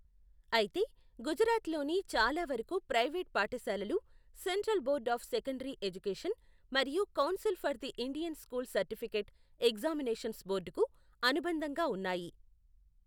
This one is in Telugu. అయితే, గుజరాత్లోని చాలావరకు ప్రైవేట్ పాఠశాలలు central board of secondary education, మరియు council for the Indian school certificate examinations బోర్డుకు అనుబంధంగా ఉన్నాయి.